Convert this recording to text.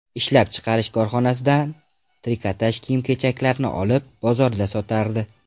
Ishlab chiqarish korxonasidan trikotaj kiyim-kechaklarni olib, bozorda sotardi.